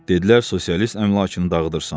Dedilər sosialist əmlakını dağıdırsan.